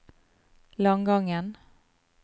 Langangen